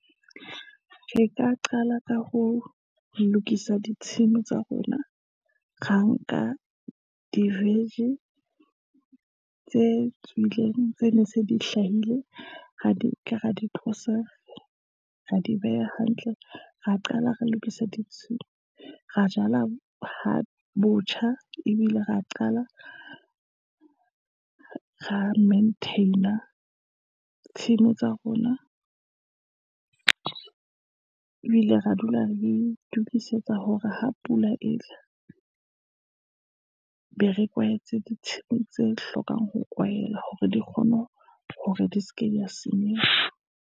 Re ka qala ka ho lokisa ditshimo tsa rona, ra nka di-vege tse tswileng tse ne se di hlahile, ra di nka ra di tlosa, ra di beha hantle, ra qala re lokisa ditshimo, ra jala ho botjha, ebile ra qala, ra maintain-a tshimo tsa rona, ebile re dula re itukisetsa hore ha pula etla, be re kwahetse ditshimo tse hlokang ho kwahela, hore di kgone hore di seke di ya senyeha.